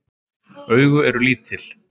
Augu eru lítil.